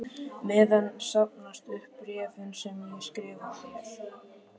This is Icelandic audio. meðan safnast upp bréfin sem ég skrifa þér.